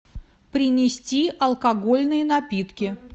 принести алкогольные напитки